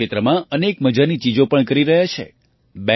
તેઓ આ ક્ષેત્રમાં અનેક મજાની ચીજો પણ કરી રહ્યા છે